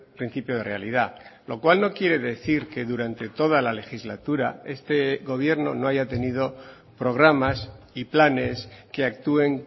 principio de realidad lo cual no quiere decir que durante toda la legislatura este gobierno no haya tenido programas y planes que actúen